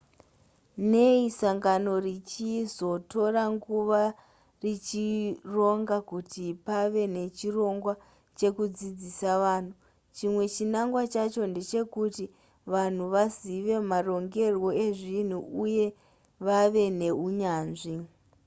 nei sangano richizotora nguva richironga kuti pave nechirongwa chekudzidzisa vanhu chimwe chinangwa chacho ndechekuti vanhu vazive marongerwo ezvinhu uye vave neunyanzvi